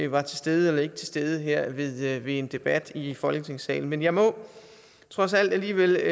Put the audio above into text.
var til stede eller ikke til stede her ved en debat i folketingssalen men jeg må trods alt alligevel